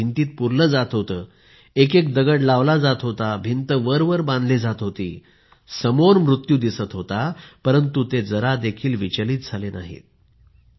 त्यांना भिंतीत पुरले जात होते एकएक दगड लावला जात होता भिंत वरवर बांधली जात होती समोर मृत्यू दिसत होता परंतु ते जरा देखील विचलित झाले नाहीत